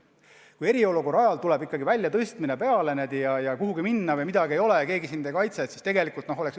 Kui eriolukorra ajal jõuab ikkagi väljatõstmine kätte ja kuhugi minna sul ei ole ja keegi sind ei kaitse, siis on olukord halb.